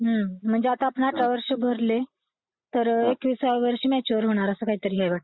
हं म्हणजे आता आपण अठरा वर्षे भरले तर एकविसाव्या वर्षी मॅच्यर होणार असं काहीतरी आहे वाटतं